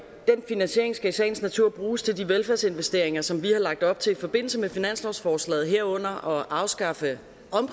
den finansiering skal i sagens natur bruges til de velfærdsinvesteringer som vi har lagt op til i forbindelse med finanslovsforslaget herunder at afskaffe